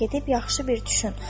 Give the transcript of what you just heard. Gedib yaxşı bir düşün.